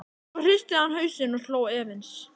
Svo hristi hann hausinn og hló efins.